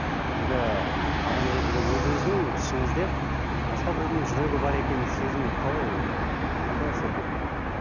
енді адам ретінде өзіңіздің ішіңізде басқа біреудің жүрегі бар екенін сезіну қалай ы қандай әсер береді